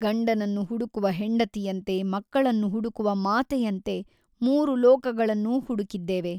ಗಂಡನನ್ನು ಹುಡುಕುವ ಹೆಂಡತಿಯಂತೆ ಮಕ್ಕಳನ್ನು ಹುಡುಕುವ ಮಾತೆಯಂತೆ ಮೂರು ಲೋಕಗಳನ್ನು ಹುಡುಕಿದ್ದೇವೆ.